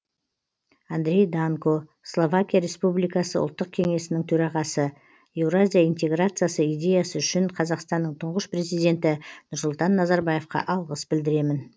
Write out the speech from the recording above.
андрей данко словакия республикасы ұлттық кеңесінің төрағасы еуразия интеграциясы идеясы үшін қазақстанның тұңғыш президенті нұрсұлтан назарбаевқа алғыс білдіремін